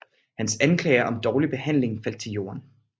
Hans anklager om dårlig behandling faldt til jorden